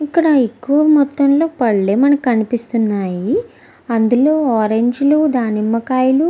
ఇక్కడ ఎక్కువ మొత్తం లో పళ్లే మనకి కనిపిస్తున్నాయి అందులో ఆరంజ్ లు దానిమ్మకాయలు.